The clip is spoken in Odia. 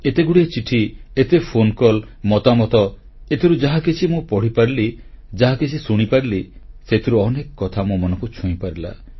ଏତେଗୁଡ଼ିଏ ଚିଠି ଏତେ ଫୋନକଲ୍ ମତାମତ ଏଥିରୁ ଯାହାକିଛି ମୁଁ ପଢ଼ିପାରିଲି ଯାହାକିଛି ଶୁଣିପାରିଲି ସେଥିରୁ ଅନେକ କଥା ମୋ ମନକୁ ଛୁଇଁପାରିଲା